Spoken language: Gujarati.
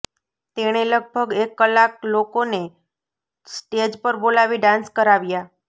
તેણે લગભગ એક કલાક લોકોને સ્ટેજ પર બોલાવી ડાન્સ કરાવ્યા